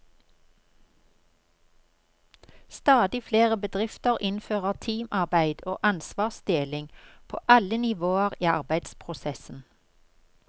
Stadig flere bedrifter innfører teamarbeid og ansvarsdeling på alle nivåer i arbeidsprosessen.